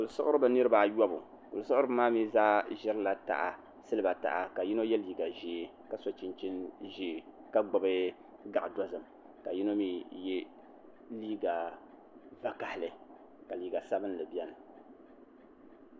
Kuli siɣiribi niraba ayobu kuli siɣiribi maa mii zaa ʒirila taha ka yino yɛ liiga ʒiɛ ka so chinchin ʒiɛ ka gbubi gaɣa dozim ka yino mii yɛ liiga vakaɣali ka liiga sabinli biɛni